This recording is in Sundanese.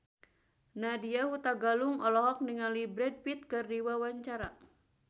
Nadya Hutagalung olohok ningali Brad Pitt keur diwawancara